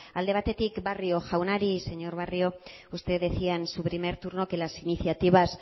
alde batetik barrio jaunari señor barrio usted decía en su primer turno que las iniciativas